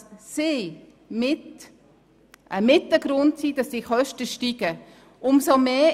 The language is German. Sie sind mitunter ein Grund für das Steigen der Kosten.